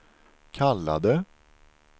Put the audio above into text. kallade